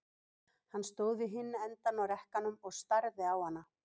Hann stóð við hinn endann á rekkanum og starði á hana.